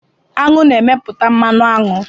Aṅụ na-emeputa mmanụ aṅụ